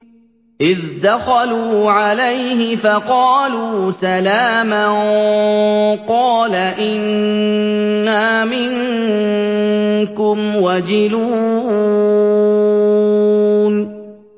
إِذْ دَخَلُوا عَلَيْهِ فَقَالُوا سَلَامًا قَالَ إِنَّا مِنكُمْ وَجِلُونَ